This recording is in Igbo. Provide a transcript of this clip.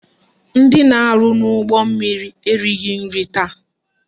Ndị na-arụ n'ụgbọmmiri erighi nri taa